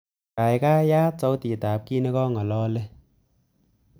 Gaigai, yaat sautitab kiit negingololen